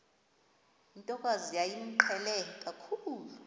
ntokazi yayimqhele kakhulu